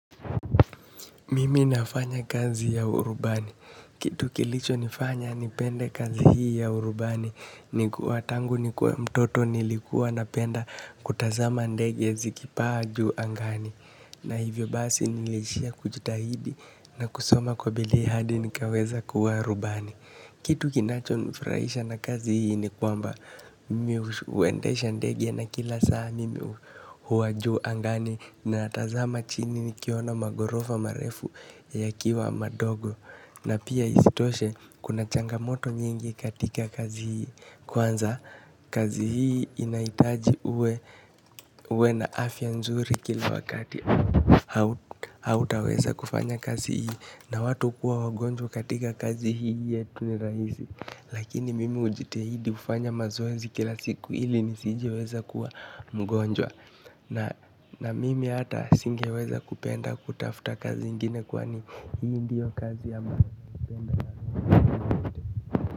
Mimi nafanya kazi ya urubani. Kitu kilichonifanya nipende kazi hii ya urubani. Ni kuwa tangu nikuwe mtoto nilikuwa napenda kutazama ndege zikipaa juu angani. Na hivyo basi niliishia kujitahidi na kusoma kwa bidii hadi nikaweza kuwa rubani. Kitu kinachonifurahisha na kazi hii ni kwamba mimi huendesha ndege na kila saa mimi huwa juu angani na ninatazama chini nikiona maghorofa marefu yakiwa madogo na pia isitoshe kuna changamoto nyingi katika kazi hii, kwanza kazi hii inahitaji uwe na afya nzuri kila wakati au hautaweza kufanya kazi hii na watu hukuwa wagonjwa katika kazi hii yetu ni rahisi lakini mimi hujitahidi hufanya mazoezi kila siku hili nisijeweza kuwa mgonjwa na mimi hata singeweza kupenda kutafuta kazi ingine kwa hii ndiyo kazi ambayo naipenda na roho yangu yote.